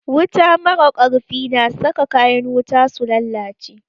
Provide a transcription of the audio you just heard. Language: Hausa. Wuta mara ƙarfi na saka kayan wuta su lalace